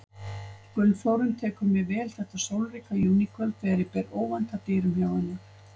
Gunnþórunn tekur mér vel þetta sólríka júníkvöld þegar ég ber óvænt að dyrum hjá henni.